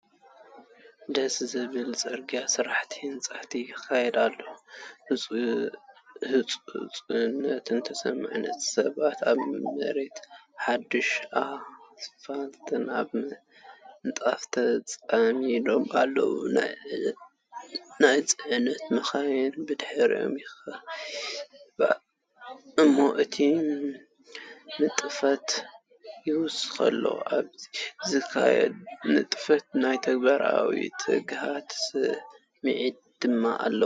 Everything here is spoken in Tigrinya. ደስ ዘብል ጽርግያ ስራሕቲ ህንጸት ይካየድ ኣሎ፡ ህጹጽነት ተሰሚዑ። ሰባት ኣብ መሬት ሓድሽ ኣስፋልት ኣብ ምንጻፍ ተጸሚዶም ኣለዉ፤ ናይ ጽዕነት መካይን ብድሕሪኦም ይስሕባ እሞ ነቲ ንጥፈት ይውስኸሉ። ኣብኡ ዝካየድ ንጥፈት ናይ ተግባራውነትን ትግሃትን ስምዒት ድማ ኣለዎ።